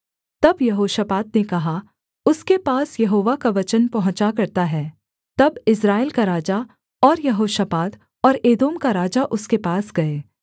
तब यहोशापात ने कहा उसके पास यहोवा का वचन पहुँचा करता है तब इस्राएल का राजा और यहोशापात और एदोम का राजा उसके पास गए